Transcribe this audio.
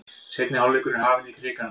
Seinni hálfleikur er hafinn í Krikanum